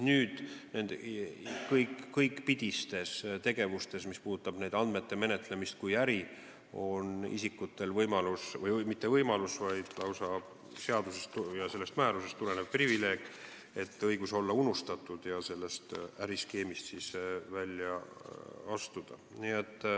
Nüüd on kõikpidistes tegevustes, mis puudutavad andmete menetlemist kui äri, isikutel lausa seadusest ja sellest määrusest tulenev privileeg, et neil on õigus olla unustatud ja sellest äriskeemist välja astuda.